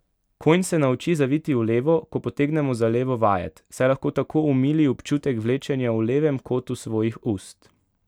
Konj se nauči zaviti v levo, ko potegnemo za levo vajet, saj lahko tako omili občutek vlečenja v levem kotu svojih ust.